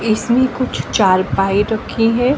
इसमें कुछ चारपाई रखी है।